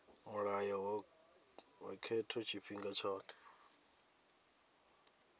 mulayo wa khetho tshifhinga tshothe